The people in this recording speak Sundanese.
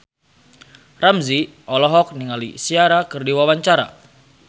Ramzy olohok ningali Ciara keur diwawancara